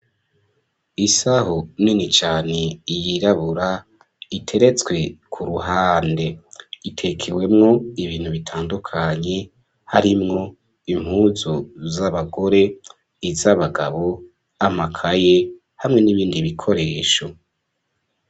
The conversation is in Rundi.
Isaho nini cane iyirabura iteretswe ku ruhande, itekewemwo ibintu bitandukanye harimwo impuzu z'abagore iz'abagabo amakaye hamwe n'ibindi bikoresho.